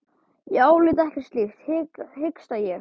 Ég álít ekkert slíkt, hiksta ég.